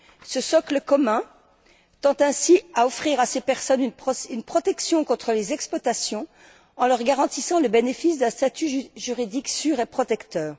Ce socle commun tend ainsi à offrir à ces personnes une protection contre les exploitations en leur garantissant le bénéfice d'un statut juridique sûr et protecteur.